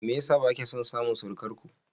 Me yasa bakya son samun surukarku?